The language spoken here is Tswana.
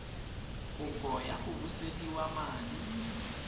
kopo ya go busediwa madi